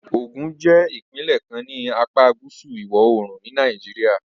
Ogun jẹ́ ìpínlẹ̀ kan ní apá gúúsù ìwọ̀-oòrùn ni Nàìjíríà